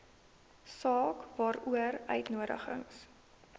saak waaroor uitnodigings